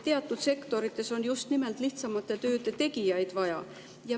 Teatud sektorites on just nimelt lihtsamate tööde tegijaid vaja.